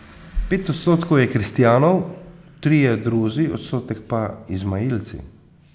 Pet odstotkov je kristjanov, trije druzi, odstotek pa izmailci.